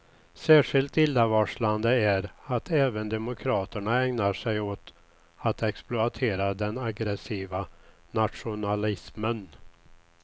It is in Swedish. Särskilt illavarslande är att även demokraterna ägnar sig åt att exploatera den aggressiva nationalismen.